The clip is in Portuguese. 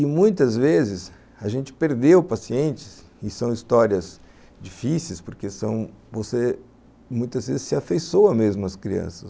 E muitas vezes a gente perdeu pacientes e são histórias difíceis, porque são, você muitas vezes se afeiçoa mesmo as crianças.